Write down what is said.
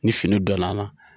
Ni fini donn'a na